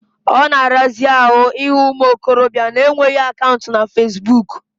Ọ na-arazi ahụ ịhụ ụmụ okorobịa na-enweghi akaụntụ na fasibuuku.